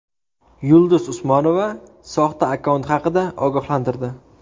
Yulduz Usmonova soxta akkaunt haqida ogohlantirdi.